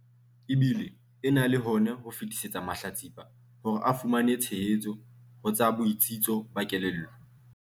E bile e na le hona ho fetisetsa mahlatsipa hore a fumane tshehetso ho tsa botsitso ba kelello.